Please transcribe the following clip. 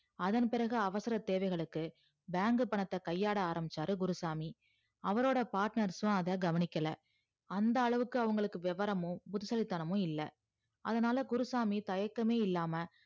அதன்பிறகு அவசர தேவைகளுக்கு bank பணத்த கையாட ஆரம்பிச்சாரு குருசாமி அவரோட partners அத கவனிக்கல அந்த அளவுக்கு அவங்களுக்கு விவரமும் புத்திசாலி தனமும் இல்ல அதனால குருசாமி தயக்கமே இல்லாம